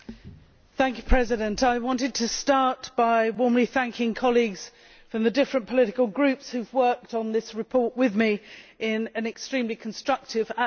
Mr President, I want to start by warmly thanking colleagues from the different political groups who have worked on this report with me in an extremely constructive atmosphere.